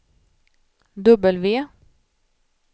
W